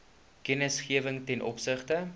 kennisgewing ten opsigte